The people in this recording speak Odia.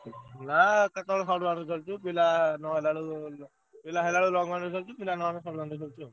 ନା କେତବେଳେ short boundary ଖେଳୁଛୁ ପିଲା ନହେଲା ବେଳୁ ପିଲା ହେଲା ବେଳକୁ short boundary ଖେଳୁଛୁ ପିଲା ନ ହେଲେ long boundary ଖେଳୁଛୁ ଆଉ।